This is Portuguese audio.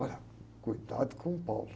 Olha, cuidado com o.